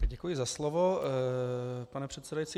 Děkuji za slovo, pane předsedající.